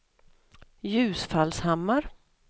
Ljusfallshammar